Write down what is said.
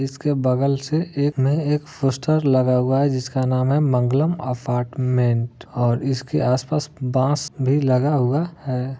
इसके बगल से एक नए एक फोस्टर लगा हुआ है जिस का नाम मंगलम अपार्टमेंट और इसके आसपास बांस भी लगा हुआ है।